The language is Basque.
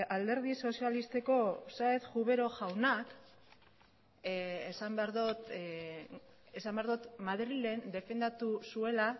alderdi sozialistako sáez cubero jaunak madrilen defendatu zuela